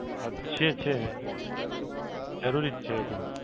અચ્છા અચ્છા. જરૂરી જ છે એટલે.